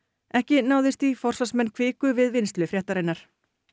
ekki náðist í forsvarsmenn Kviku við vinnslu fréttarinnar